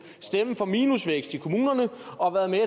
stemme for minusvækst i kommunerne og været med